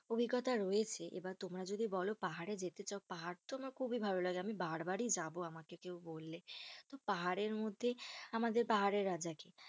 অভিজ্ঞতা রয়েছে, এবার তোমার যদি বোলো পাহাড়ে যেতে চাও, পাহাড় তো আমার খুব ভালো লাগে, বার বার ই যাবো আমাকে কেউ বললে, তো পাহাড়ের মধ্যে আমাদের, পাহাড়ের রাজা কি?